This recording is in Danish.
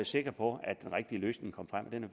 sikre på at den rigtige løsning kom frem og den